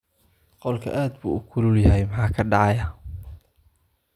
Qolka aad buu ugu kulul yahay, maxaa dhacaya?